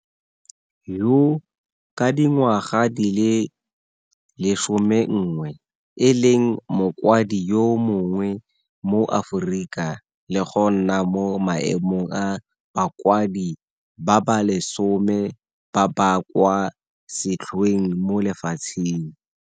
Yoo, ka dingwaga di le 11, e leng mokwadi yo monnye mo Aforika le go nna mo maemong a ba kwadi ba ba lesome ba ba kwa setlhoeng mo lefatsheng.